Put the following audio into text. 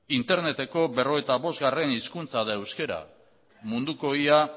interneteko berrogeita bostgarrena hizkuntza da euskara munduko ia